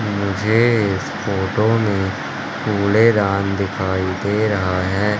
मुझे इस फोटो में कूड़ेदान दिखाई दे रहा है।